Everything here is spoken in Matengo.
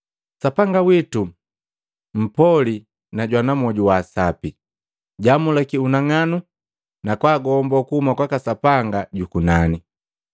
Sapanga witu mpoli na jwana mmwoju wa sapi. Jaamulakya unang'anu na kwaagomboo kuhuma kwaka Sapanga juku nani.